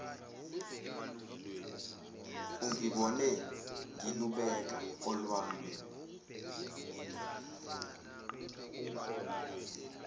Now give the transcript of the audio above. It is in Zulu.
ungibone ngilubeka olwami